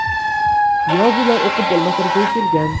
Yozuvlar o‘qib bo‘lmas darajaga kelgan.